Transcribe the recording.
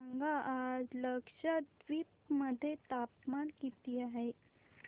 सांगा आज लक्षद्वीप मध्ये तापमान किती आहे